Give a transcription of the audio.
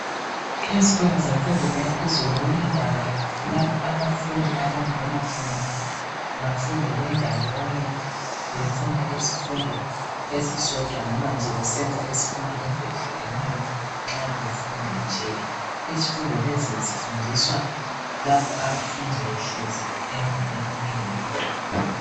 Ezikolweni zemfundo yaphezulu kulendawo lapho abafundi abangena khona bafunde bendawonye befunde isifundo esisodwa nomanje nje besenza izifundo ezehlukeneyo nxa befunda nje izifundo lezo zifundiswa lapho abafundi behlezi endaweni eyodwa